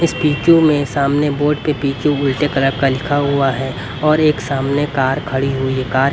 इस वीडियो में सामने बोर्ड पे पीछे उल्टे तरफ का लिखा हुआ है और एक सामने कार खड़ी हुई है कार --